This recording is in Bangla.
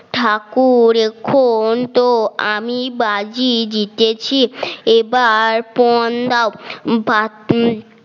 ঠাকুর এখন তো আমি বাজে জিতেছি এবার পন দাও বা